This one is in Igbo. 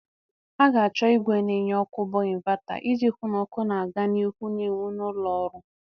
A ga-achọ ìgwè na enye ọkụ bụ ịnvata iji hụ na ọkụ na-aga n'ihu na enwu na ụlọ ọrụ.